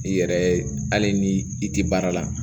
I yɛrɛ hali ni i tɛ baara la